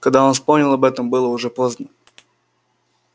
когда он вспомнил об этом было уже поздно